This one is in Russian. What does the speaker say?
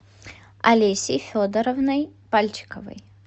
олесей федоровной пальчиковой